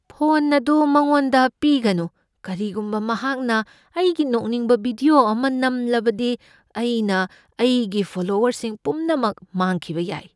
Phone ꯑꯗꯨ ꯃꯉꯣꯟꯗ ꯄꯤꯒꯅꯨ꯫ ꯀꯔꯤꯒꯨꯝꯕ ꯃꯍꯥꯛꯅ ꯑꯩꯒꯤ ꯅꯣꯛꯅꯤꯡꯕ ꯚꯤꯗꯤꯑꯣ ꯑꯃ ꯅꯝꯂꯕꯗꯤ, ꯑꯩꯅ ꯑꯩꯒꯤ ꯐꯣꯂꯣꯋꯔꯁꯤꯡ ꯄꯨꯝꯅꯃꯛ ꯃꯥꯡꯈꯤꯕ ꯌꯥꯏ꯫